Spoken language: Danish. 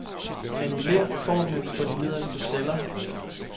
Annullér formlen for de nederste celler.